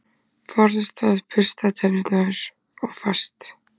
Forðast að bursta tennur of fast.